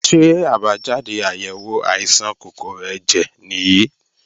Ṣé àbájáde àyèwò àìsàn kòkòrò ẹ̀jẹ̀ nìyí?